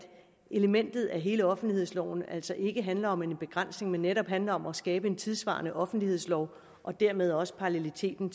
elementerne i hele offentlighedsloven altså ikke handler om en begrænsning men netop handler om at skabe en tidssvarende offentlighedslov og dermed også paralleliteten